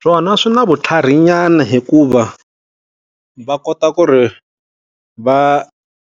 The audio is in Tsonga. Swona swi na vutlhari nyana hikuva, va kota ku ri va